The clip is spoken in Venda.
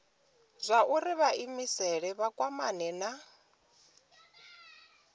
zwauri vhaimeleli vha kwamane na